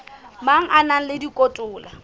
mang a na le dikotola